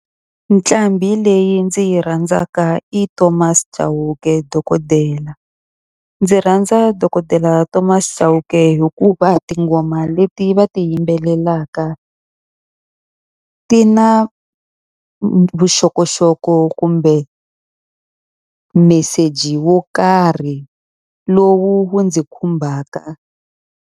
Nqambi leyi ndzi yi rhandzaka i Thomas Chauke dokodela. Ndzi rhandza dokodela Thomas Chauke hikuva tinghoma leti va ti yimbelelaka ti na vuxokoxoko kumbe meseji wo karhi lowu ndzi khumbaka.